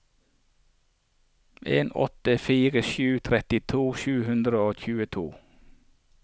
en åtte fire sju trettito sju hundre og tjueto